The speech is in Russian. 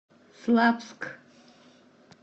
славск